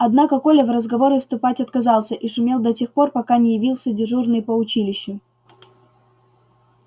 однако коля в разговоры вступать отказался и шумел до тех пор пока не явился дежурный по училищу